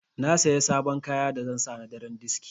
Na Siya sabon kaya da zan sa na daren diski.